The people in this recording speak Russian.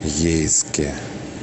ейске